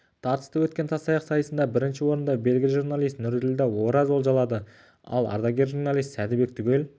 тартысты өткен тастаяқ сайысында бірінші орынды белгілі журналист нұрділда ораз олжалады ал ардагер журналист сәдібек түгел